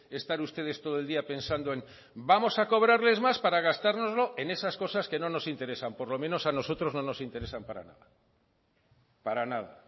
estar ustedes todo el día pensando en vamos a cobrarles más para gastárnoslo en esas cosas que no nos interesan por lo menos a nosotros no nos interesan para nada para nada